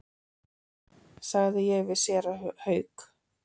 sagði ég við séra Hauk.